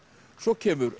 svo kemur